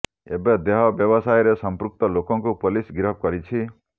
ଏବେ ଦେହ ବ୍ୟବସାୟରେ ସଂପୃକ୍ତ ଲୋକଙ୍କୁ ପୋଲିସ ଗିରଫ କରିଛି